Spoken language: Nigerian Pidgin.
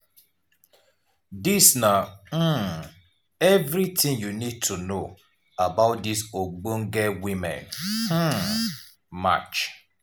dis na um evritin you need to know about dis ogbonge women um match.